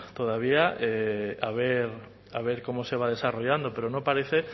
todavía a ver cómo se va desarrollando pero no parece